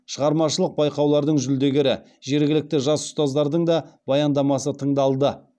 шығармашылық байқаулардың жүлдегері жергілікті жас ұстаздардың да баяндамасы тыңдалды